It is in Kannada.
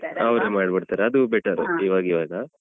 ಹಾ ಅವ್ರೆ ಮಾಡಿ ಬಿಡ್ತಾರೆ ಅದು better ಇವಾಗಿವಾಗ.